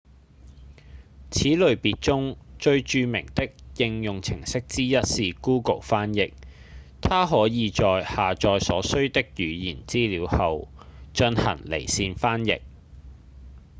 此類別中最著名的應用程式之一是 google 翻譯它可以在下載所需的語言資料後進行離線翻譯